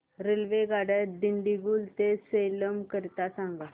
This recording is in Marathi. रेल्वेगाड्या दिंडीगुल ते सेलम करीता सांगा